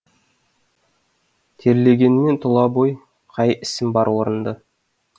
терлегенмен тұла бой қай ісім бар орынды